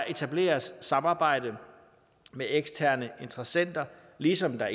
etableres samarbejde med eksterne interessenter ligesom der